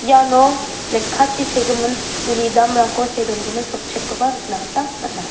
iano lekkachi segimin uni damrangko see dongimin sotchet koba nikna gita man·a.